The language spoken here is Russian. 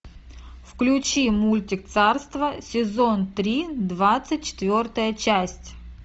включи мультик царство сезон три двадцать четвертая часть